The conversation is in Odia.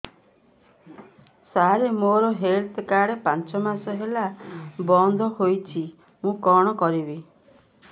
ସାର ମୋର ହେଲ୍ଥ କାର୍ଡ ପାଞ୍ଚ ମାସ ହେଲା ବଂଦ ହୋଇଛି ମୁଁ କଣ କରିବି